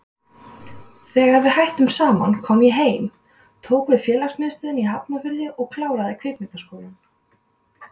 Þegar við hættum saman kom ég heim, tók við félagsmiðstöð í Hafnarfirði og kláraði Kvikmyndaskólann.